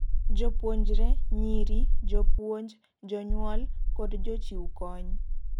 Jopuonjre, nyiri, jopuonj, jonyuol kod jochiwkony